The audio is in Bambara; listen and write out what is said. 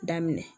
Daminɛ